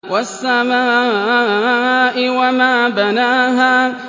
وَالسَّمَاءِ وَمَا بَنَاهَا